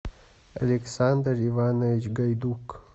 александр иванович гайдук